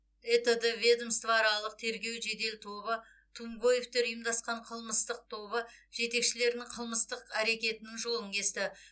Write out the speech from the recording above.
этд ведомствоаралық тергеу жедел тобы тумгоевтер ұйымдасқан қылмыстық тобы жетекшілерінің қылмыстық әрекетінің жолын кесті